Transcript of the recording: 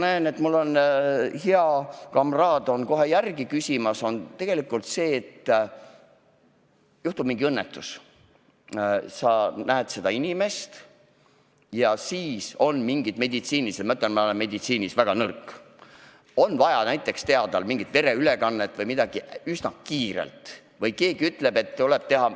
Juhtub õnnetus, sa näed seda inimest ja sul on vaja teha mingisugused meditsiinilised toimingud – ma ütlen, et ma olen meditsiinis väga nõrk –, näiteks on vaja teha vereülekanne või midagi muud üsna kiiresti, või keegi ütleb, et tuleb midagi teha.